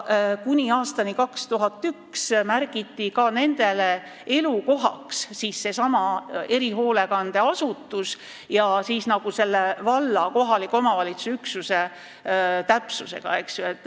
Kuni aastani 2001 märgiti nende elukohaks seesama erihoolekandeasutus valla ehk kohaliku omavalitsuse üksuse täpsusega.